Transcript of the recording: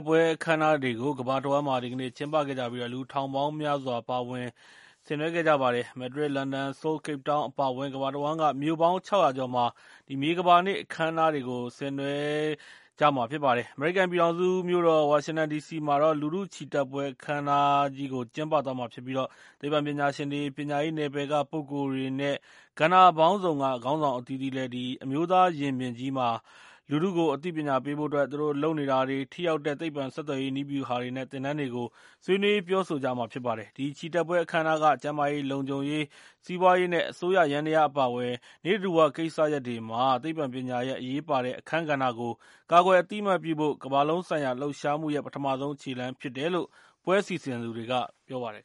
ပွဲအခမ်းအနားတွေကို ကမ္ဘာတဝှမ်းမှာ ဒီကနေ့ ပြုလုပ်နေကြပြီး၊ လူထောင်ပေါင်းများစွာ ပါဝင်ဆင်နွဲခဲ့ကြပါတယ်။ မက်ဒရစ်၊ လန်ဒန်၊ ဆိုးလ်၊ ကိတ်ပ်တောင်း အပါအဝင် ကမ္ဘာတဝှမ်းက မြို့ပေါင်း ၆၀၀ ကျော်မှာ မြေကမ္ဘာနေ့အခမ်းအနားတွေကို ဆင်နွဲှခဲ့ကြတာဖြစ်ပါတယ်။ အမေရိကန်ပြည်ထောင်စုမြို့တော့် ဝါရှင်တန်ဒီစီမှာလည်း လူထုချီတက်ပွဲအခမ်းအနားကြီးကို ကျင်းပသွားမှာဖြစ်ပြီးသိပ္ပံပညာရှင်တွေ၊ ပညာရေးနယ်ပယ်ကပုဂ္ဂိုလ်တွေ နဲ့ ကဏ္ဍပေါင်းစုံက ခေါင်းဆောင်အသီးသီးလည်း အမျိုးသားရင်ပြင်ကြီး မှာ ဆွေးနွေးပြောဆိုကြမှာ ဖြစ်ပါတယ်။ အဲဒီမှာ လူထုကိုအသိပညာပေးဖို့အတွက် သူတို့လုပ်နေတာတွေ၊ ထိရောက်တဲ့ သိပ္ပံဆက်သွယ်ရေး နည်းဗျူဟာတွေ နဲ့ သင်တန်းတွေကို ဆွေးနွေးပြောဆိုကြမှာဖြစ်ပါတယ်။ ဒီချီတက်ပွဲအခမ်းအနားက ကျန်းမာရေး၊ လုံခြုံရေး၊ စီးပွားရေး နဲ့ အစိုးရယန္တရား အပါအဝင် နိစ္စဓူဝကိစ္စရပ်တွေမှာ သိပ္ပံပညာရပ်ရဲ့ အရေးပါတဲ့အခန်းကဏ္ဍကို ကာကွယ်အသိအမှတ်ပြုဖို့ ကမ္ဘာလုံးဆိုင်ရာလှုပ်ရှားမှုရဲ့ ပထမခြေလှမ်းဖြစ်တယ်လို့ ပွဲစီစဉ်သူတွေက ပြောပါတယ်